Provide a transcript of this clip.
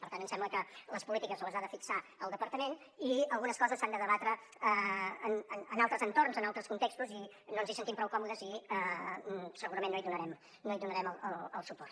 per tant ens sembla que les polítiques les ha de fixar el departament i algunes coses s’han de debatre en altres entorns en altres contextos i no ens hi sentim prou còmodes i segurament no hi donarem suport